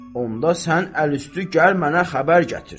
onda sən əlüstü gəl mənə xəbər gətir.